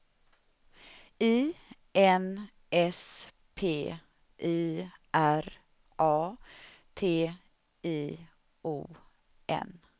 I N S P I R A T I O N